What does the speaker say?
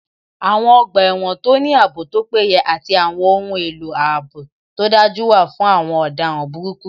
Àwọn ọgbà ẹ̀wọ̀n tó ní ààbò tó péye àti àwọn ohun èlò ààbò tó dájú wà fún àwọn ọ̀daràn burúkú